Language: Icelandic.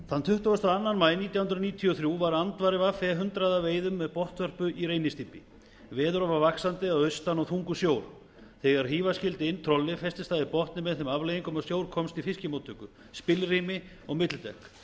þann tuttugu og tvö maí nítján hundruð níutíu og þrjú var andvari ve hundrað að veiðum með botnvörpu í reynisdýpi veður var vaxandi að austan og þungur sjór þegar hífa skyldi inn trollið festist það í botni með þeim afleiðingum að sjór komst í fiskmóttöku spilrými og millidekk skipið fékk